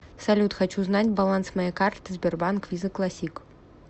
салют хочу знать баланс моей карты сбербанк виза классик